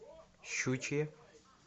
щучье